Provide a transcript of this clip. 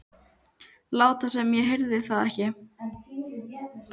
Láta sem ég heyrði það ekki.